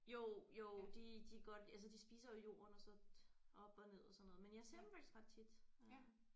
Jo jo de de godt altså de spiser jo jorden og så op og ned og sådan noget men jeg ser dem faktisk ret tit øh